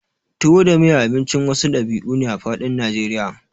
tuwo da miya Abincin wasu ɗabi'u ne a faɗin najeriya